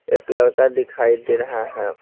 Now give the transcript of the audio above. एक लड़का दिखाई दे रहा है।